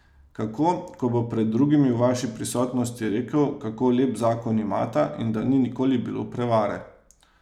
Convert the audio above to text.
Kako, ko bo pred drugimi v vaši prisotnosti rekel, kako lep zakon imata in da ni nikoli bilo prevare ...